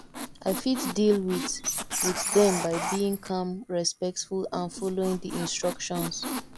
i fit deal with with dem by being calm respectful and following di instructions